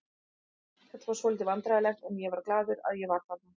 Þetta var svolítið vandræðalegt en ég var glaður að ég var þarna.